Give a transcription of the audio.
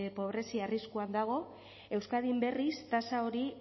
pobrezia arriskuan dago euskadin berriz tasa hori